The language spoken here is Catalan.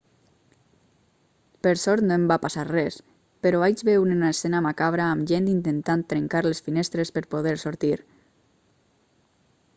per sort no em va passar res però vaig veure una escena macabra amb gent intentant trencar les finestres per poder sortir